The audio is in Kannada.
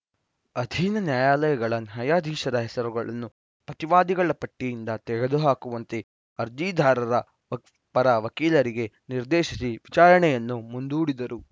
ಅಧೀನ ನ್ಯಾಯಾಲಯಗಳ ನ್ಯಾಯಾಧೀಶರ ಹೆಸರುಗಳನ್ನು ಪ್ರತಿವಾದಿಗಳ ಪಟ್ಟಿಯಿಂದ ತೆಗೆದು ಹಾಕುವಂತೆ ಅರ್ಜಿದಾರರ ಪರ ವಕೀಲರಿಗೆ ನಿರ್ದೇಶಿಸಿ ವಿಚಾರಣೆಯನ್ನು ಮುಂದೂಡಿದರು